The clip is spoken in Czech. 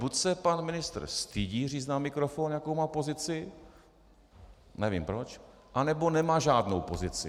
Buď se pan ministr stydí říct na mikrofon, jakou má pozici, nevím proč, anebo nemá žádnou pozici.